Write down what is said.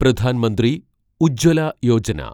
Pradhan Mantri Ujjwala Yojana